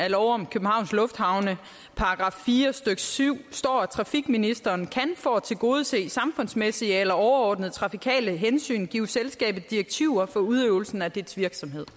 i lov om københavns lufthavne § fire stykke syv står trafikministeren kan for at tilgodese samfundsmæssige eller overordnede trafikale hensyn give selskabet direktiver for udøvelsen af dets virksomhed